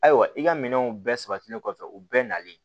Ayiwa i ka minɛnw bɛɛ sabatilen kɔfɛ u bɛɛ nalen